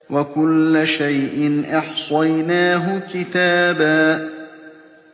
وَكُلَّ شَيْءٍ أَحْصَيْنَاهُ كِتَابًا